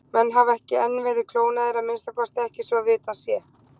Menn hafa ekki enn verið klónaðir, að minnsta kosti ekki svo vitað sé.